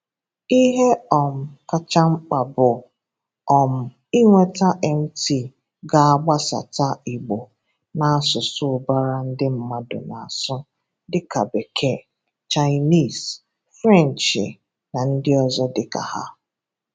Ihe um kacha mkpa bụ um inweta MT ga-agbasata Igbo na asụsụ ụbara ndị mmadụ na-asụ, dịka Bekee, Chineese, Frenchi na ndị ọzọ dịka ha.